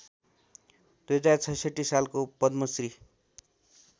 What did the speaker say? २०६६ सालको पद्मश्री